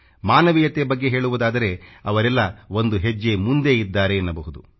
ಮಾನವೀಯತೆ ಬಗ್ಗೆ ಹೇಳುವುದಾದರೆ ಅವರೆಲ್ಲ ಒಂದು ಹೆಜ್ಜೆ ಮುಂದೆ ಇದ್ದಾರೆ ಎನ್ನಬಹುದು